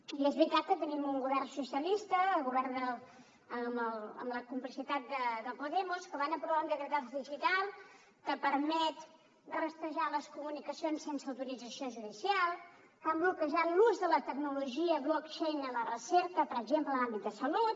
i és veritat que tenim un govern socialista govern amb la complicitat de podemos que van aprovar un decretazo digital que permet rastrejar les comunicacions sense autorització judicial que han bloquejat l’ús de la tecnologia blockchain en la recerca per exemple en l’àmbit de salut